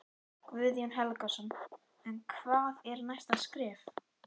Guðjón Helgason: En hvað er næsta skref?